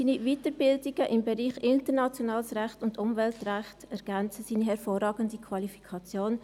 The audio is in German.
Seine Weiterbildungen im Bereich internationales Recht und Umweltrecht ergänzen seine hervorragende Qualifikation.